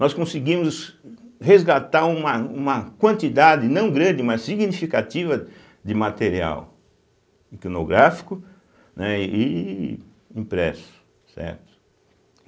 Nós conseguimos resgatar uma uma quantidade não grande, mas significativa de material icnográfico, né e impresso, certo.